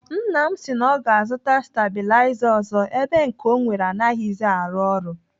Nna m si na ọ ga-azụta stabiliza ọzọ ebe nke ọ nwere anaghịzi arụ ọrụ.